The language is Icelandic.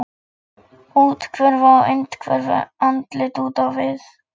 Úthverfa á innhverfu, andlit út á við.